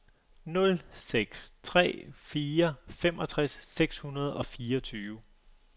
nul seks tre fire femogtres seks hundrede og fireogtyve